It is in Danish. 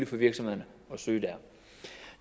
for virksomhederne at søge der